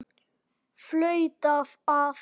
Flautað af.